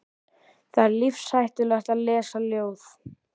Það er lífshættulegt að lesa ljóð.